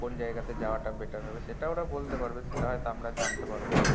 কোন জায়গাতে যাওয়াটা better হবে সেটা ওরা বলতে পারবে সেটা হয়তো আমরা জানতে পারবো না